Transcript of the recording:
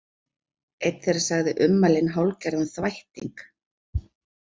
Einn þeirra sagði ummælin hálfgerðan þvætting